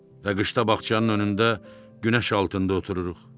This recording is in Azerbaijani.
Və qışda bağçanın önündə günəş altında otururuq.